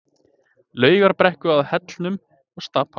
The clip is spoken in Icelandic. Laugarbrekku að Hellnum og Stapa.